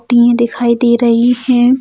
दियें दिखाई दे रही हैं।